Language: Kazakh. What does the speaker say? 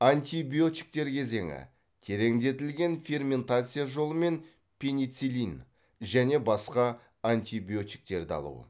антибиотиктер кезеңі тереңдетілген ферментация жолымен пенициллин және басқа антибиотиктерді алу